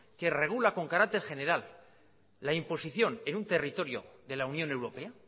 que regula con carácter general la imposición en un territorio de la unión europea